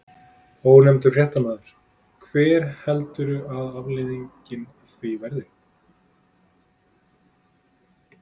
Ónefndur fréttamaður: Hver heldurðu að afleiðingin verði af því?